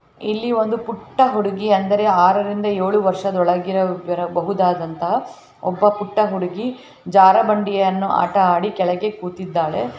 ಇಲ್ಲಿ ಒಂದು ಪುಟ್ಟ ಹುಡುಗಿ ಅಂದರೆ ಆರರಿಂದ ಏಳು ವರ್ಷದ ಒಳಗೆ ಇರ ಇರಬಹುದಾದಂತಹ ಒಬ್ಬ ಪುಟ್ಟ ಹುಡುಗಿ ಜಾರಾಮಂಡಿ ಆಟವನ್ನು ಅಡಿ ಕೆಳಗೆ ಕೂತಿದ್ದಾಳೆ .